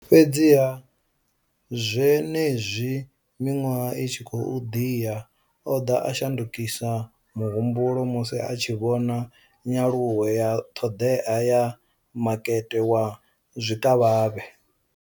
Fhedziha, zwenezwi miṅwaha i tshi khou ḓi ya, o ḓo shandukisa muhumbulo musi a tshi vhona nyaluwo ya ṱhoḓea ya makete wa zwikavhavhe.